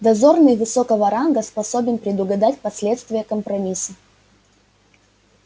дозорный высокого ранга способен предугадать последствия компромисса